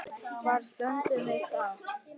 Hvar stöndum við þá?